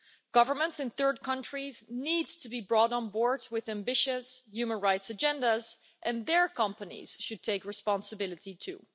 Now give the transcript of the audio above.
Governments in third countries need to be brought on board with ambitious human rights agendas and their companies should take responsibility too.